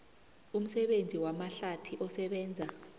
umsebenzi wamahlathi osebenza